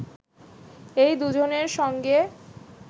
এই দুজনের সঙ্গে